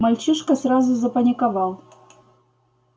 мальчишка сразу запаниковал